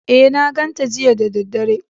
E, na ganta jiya da daddare.